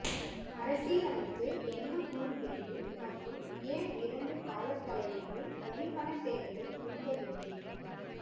அரசியலமைப்பு என்ன கூறுகிறது மற்றும் ஏன் இரண்டு கால தலைவர்கள் வரிப்பணத் தேடலை விரும்பவில்லை